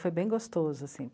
Foi bem gostoso assim.